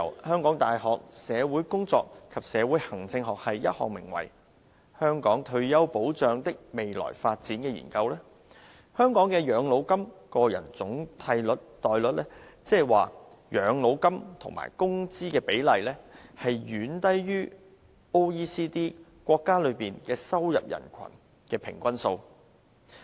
香港大學社會工作及社會行政學系進行的《香港退休保障的未來發展》研究顯示，香港的養老金個人總替代率，即養老金與工資的比例，遠低於經濟合作與發展組織國家中的收入人群的平均數。